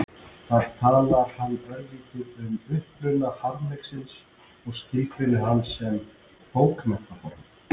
Þar talar hann örlítið um uppruna harmleiksins og skilgreinir hann sem bókmenntaform.